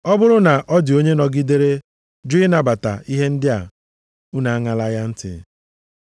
Ọ bụrụ na ọ dị onye nọgidere jụ ịnabata ihe ndị a, unu aṅala ya ntị.